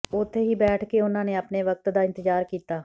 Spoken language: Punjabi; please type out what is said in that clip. ਉੱਥੇ ਹੀ ਬੈਠ ਕੇ ਉਨ੍ਹਾਂ ਨੇ ਆਪਣੇ ਵਕਤ ਦਾ ਇੰਤਜ਼ਾਰ ਕੀਤਾ